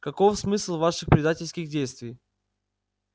каков смысл ваших предательских действий